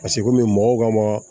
Paseke komi mɔgɔw ka ma